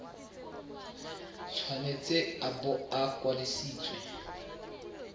tshwanetse a bo a kwadisitswe